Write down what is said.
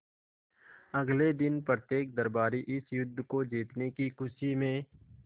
अगले दिन प्रत्येक दरबारी इस युद्ध को जीतने की खुशी में